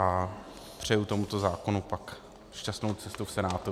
A přeji tomuto zákonu pak šťastnou cestu v Senátu.